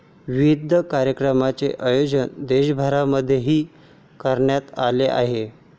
विविध कार्यक्रमांचे आयोजन देशभरामध्येही करण्यात आले आहे.